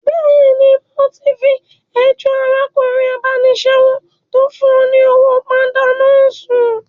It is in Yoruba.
Bẹ́ẹ̀ni, mo ti fi ẹjọ́ arákùnrin abánisẹ́wò tó fún ọ ní owó pánda náà sùn